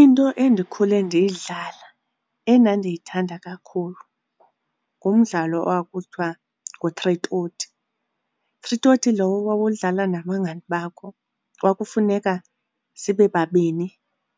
Into endikhule ndiyidlala endandiyithanda kakhulu ngumdlalo kwakuthiwa ngu-three toti. Three toti lowo owawudlala nabangani bakho. Kwakufuneka sibe babini